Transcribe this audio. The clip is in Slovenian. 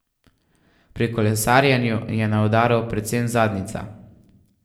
Pri kolesarjenju je na udaru predvsem zadnjica.